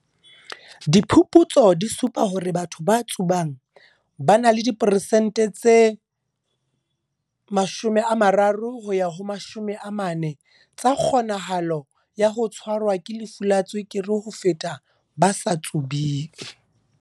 Diphuputso di supa hore batho ba tsubang ba na le di peresente tse 30 ho ya ho 40 tsa kgonahalo ya ho tshwa rwa ke lefu la tswekere ho feta ba sa tsubeng.